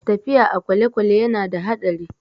Tafiya a kwalekwale ya na da haɗari